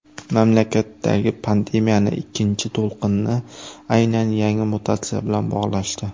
Mamlakatdagi pandemiyaning ikkinchi to‘lqinini aynan yangi mutatsiya bilan bog‘lashdi.